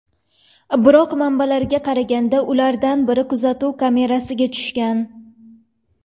Biroq, manbalarga qaraganda, ulardan biri kuzatuv kamerasiga tushgan.